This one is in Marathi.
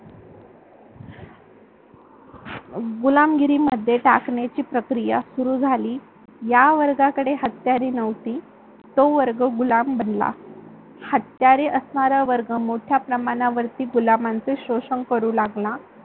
गुलामगिरी मध्ये टाकण्याची प्रक्रिया सुरू झाली. ज्या वर्गाकडे हत्यारे नव्हती तो वर्ग गुलाम बनला, हत्यारे असणारा वर्ग मोठ्या प्रमाणावरती गुलाबमांचे शोषण करू लागला.